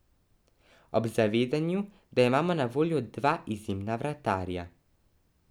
Ob zavedanju, da imamo na voljo dva izjemna vratarja.